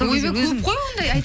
ойбай көп қой оңдай